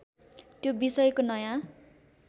त्यो विषयको नयाँ